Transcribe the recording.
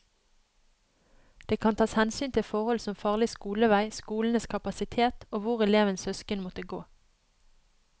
Det kan tas hensyn til forhold som farlig skolevei, skolenes kapasitet og hvor elevens søsken måtte gå.